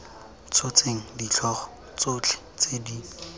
tshotseng ditlhogo tsotlhe tse di